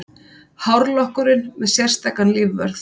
Hárlokkurinn með sérstakan lífvörð